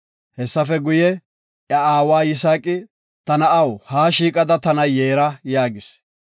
Hessafe guye, iya aawa Yisaaqi, “Ta na7aw, ha shiiqada tana yeera” yaagis.